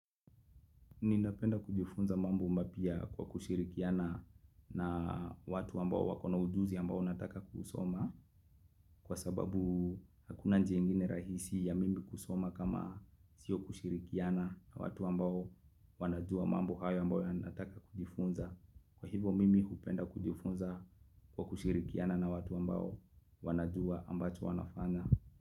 Ninapenda kujifunza mambo mapya kwa kushirikiana na watu ambao wako na ujuzi ambao nataka kusoma kwa sababu hakuna njia ingine rahisi ya mimi kusoma kama sio kushirikiana na watu ambao wanajua mambo hayo ambayo nataka kujifunza. Kwa hivo mimi hupenda kujifunza kwa kushirikiana na watu ambao wanajua ambacho wanafanya.